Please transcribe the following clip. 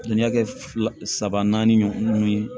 N y'a kɛ fila saba naani ye